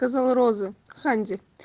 сказал розы